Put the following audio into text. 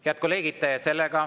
Head kolleegid!